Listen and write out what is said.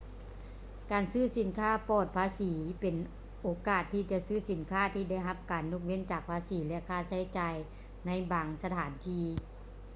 ການຊື້ສິນຄ້າປອດພາສີເປັນໂອກາດທີ່ຈະຊື້ສິນຄ້າທີ່ໄດ້ຮັບການຍົກເວັ້ນຈາກພາສີ ແລະ ຄ່າໃຊ້ຈ່າຍໃນບາງສະຖານທີ່